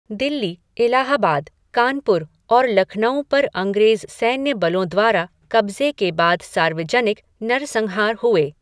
दिल्ली, इलाहाबाद, कानपुर और लखनऊ पर अंग्रेज़ सैन्यबलों द्वारा कब्जे के बाद सार्वजनिक नरसंहार हुए।